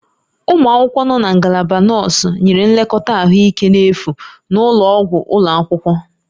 Ụmụ akwụkwọ nọ na Ngalaba Nọọsụ nyere nlekọta ahụike n'efu na ụlọ ọgwụ ụlọ akwụkwọ